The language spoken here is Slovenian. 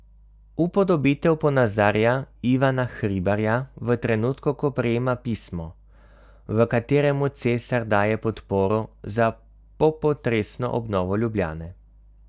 Upodobitev ponazarja Ivana Hribarja v trenutku, ko prejema pismo, v katerem mu cesar daje podporo za popotresno obnovo Ljubljane.